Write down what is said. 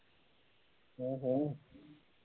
ਹੂ ਹੂ